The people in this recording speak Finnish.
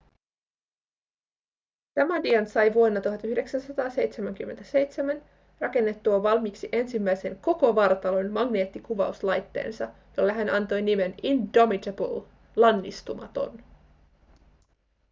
damadian sai vuonna 1977 rakennettua valmiiksi ensimmäisen koko vartalon magneettikuvauslaitteensa jolle hän antoi nimen indomitable lannistumaton